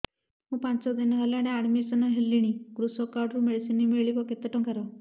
ମୁ ପାଞ୍ଚ ଦିନ ହେଲାଣି ଆଡ୍ମିଶନ ହେଲିଣି କୃଷକ କାର୍ଡ ରୁ ମେଡିସିନ ମିଳିବ କେତେ ଟଙ୍କାର